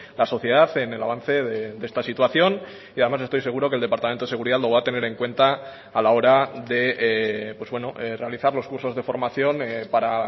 la sociedad en el avance de esta situación y además estoy seguro que el departamento de seguridad lo va a tener en cuenta a la hora de realizar los cursos de formación para